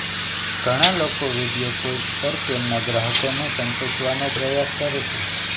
ઘણા લોકો video calls પર તેમના ગ્રાહકોને સંતોષવાનો પ્રયાસ કરે છે